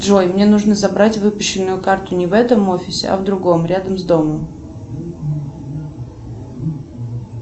джой мне нужно забрать выпущенную карту не в этом офисе а в другом рядом с домом